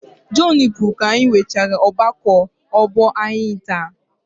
Jọnu pụrụ ka anyị nwechaara ọgbakọ ọgbọ anyị taa.